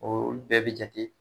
Olu bɛɛ bɛ jate